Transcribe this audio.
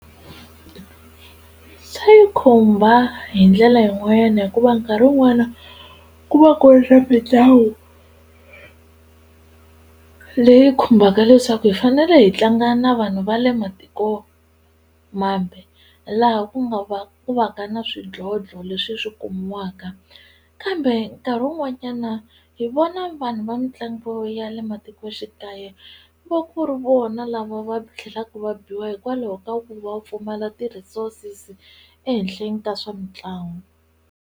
Xa yi khumba hi ndlela yin'wanyana hikuva nkarhi wun'wana ku va ku ri swa mitlangu leyi khumbaka leswaku hi fanele hi tlanga na vanhu va le matiko mambe laha ku nga va ku va ka na swidlodlo leswi swi kumiwaka kambe nkarhi wun'wanyana hi vona vanhu va mitlangu ya le matikoxikaya ku va ku ri vona lava va tlhelaka va biwa hikwalaho ka ku va pfumala ti-resources ehenhleni ka swa mitlangu.